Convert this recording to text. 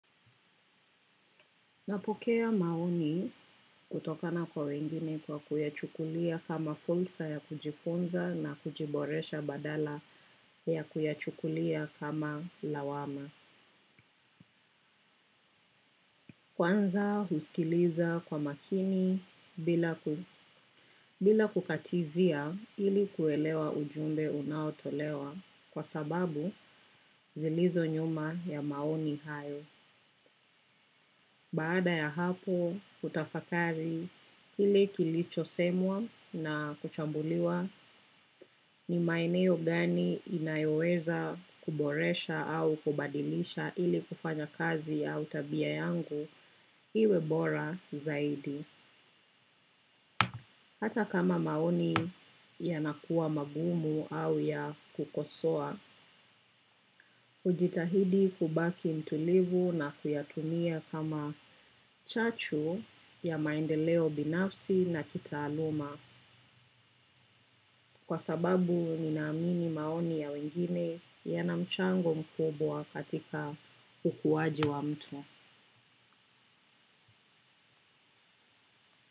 Napokea maoni kutokana kwa wengine kwa kuyachukulia kama fursa ya kujifunza na kujiboresha badala ya kuyachukulia kama lawama. Kwanza husikiliza kwa makini bila kukatizia ili kuelewa ujumbe unaotolewa kwa sababu zilizo nyuma ya maoni hayo. Baada ya hapo, hutafakari kile kilichosemwa na kuchambuliwa, ni maeneo gani inayoweza kuboresha au kubadilisha ili kufanya kazi au tabia yangu iwe bora zaidi. Hata kama maoni yanakuwa magumu au ya kukosoa, hujitahidi kubaki mtulivu na kuyatumia kama chachu ya maendeleo binafsi na kitaaluma. Kwa sababu ninaamini maoni ya wengine yana mchango mkubwa katika ukuwaji wa mtu.